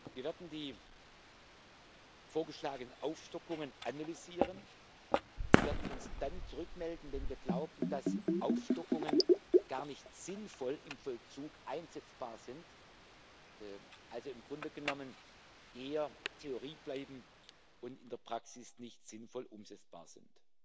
sein. Wir werden die vorgeschlagenen Aufstockungen analysieren und werden uns dann zurückmelden, wenn wir glauben, dass Aufstockungen gar nicht sinnvoll im Vollzug einsetzbar sind, also im Grunde genommen eher Theorie bleiben und in der Praxis nicht sinnvoll umsetzbar